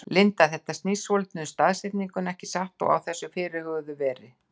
Linda: Þetta snýst svolítið um staðsetninguna ekki satt, á þessu þá fyrirhuguðu veri?